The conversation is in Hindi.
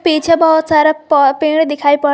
पीछे बहुत सारा प पेड़े दिखाई पड़--